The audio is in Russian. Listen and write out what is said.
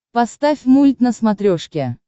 поставь мульт на смотрешке